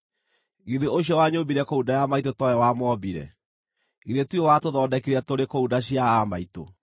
Githĩ ũcio wanyũũmbire kũu nda ya maitũ to we wamoombire? Githĩ tiwe watũthondekire tũrĩ kũu nda cia aa maitũ?